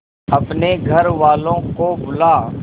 अपने घर वालों को बुला